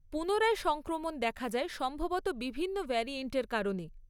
পুনরায় সংক্রমণ দেখা যায় সম্ভবত বিভিন্ন ভ্যারিয়েন্টের কারণে।